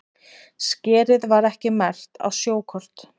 Skerið var ekki merkt á sjókort